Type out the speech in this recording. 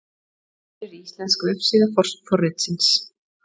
Hér er íslensk vefsíða forritsins.